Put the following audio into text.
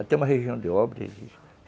Até uma região de